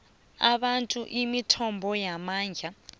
abantu imithombo yamandla